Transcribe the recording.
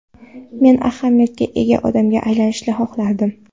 Men ahamiyatga ega odamga aylanishni xohlardim.